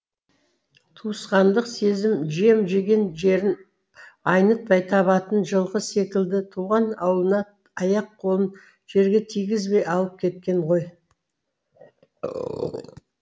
туысқандық сезім жем жеген жерін айнытпай табатын жылқы секілді туған ауылына аяқ қолын жерге тигізбей алып кеткен ғой